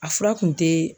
A fura kun te